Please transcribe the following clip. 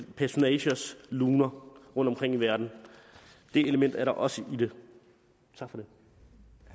personagers luner rundtomkring i verden det element er der også i det tak for